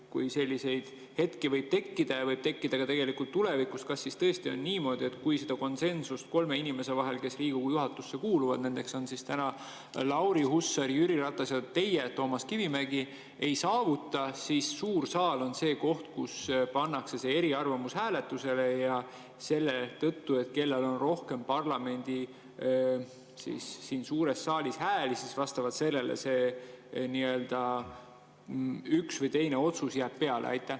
Kui selliseid hetki võib tekkida, ja neid võib tekkida ka tulevikus, kas siis tõesti on niimoodi, et kui seda konsensust kolme inimese vahel, kes Riigikogu juhatusse kuuluvad – nendeks on täna Lauri Hussar, Jüri Ratas ja teie, Toomas Kivimägi –, ei saavutata, siis suur saal on see koht, kus pannakse see eriarvamus hääletusele ja vastavalt sellele, kellel on rohkem parlamendi suures saalis hääli, nii-öelda üks või teine otsus jääb peale?